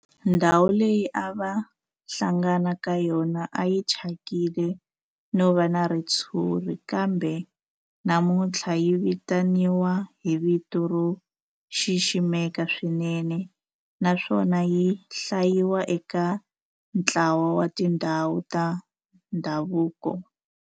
Ndhawu leyi a va hlangana ka yona a yi thyakile no va na ritshuri kambe namuntlha yi vitaniwa hi vito ro xiximeka swinene naswona yi hlayiwa eka ntlawa wa tindhawu ta ndhavuko.